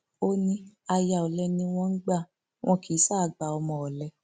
ó ní aya olè ni wọn ń gbà wọn kì í ṣáà gba ọmọ ọlẹ